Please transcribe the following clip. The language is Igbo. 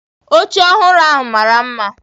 Oche ọhụrụ ahụ mara mma